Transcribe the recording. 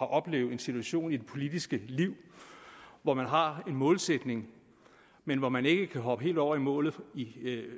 oplevet en situation i det politiske liv hvor man har en målsætning men hvor man ikke kan hoppe helt over i målet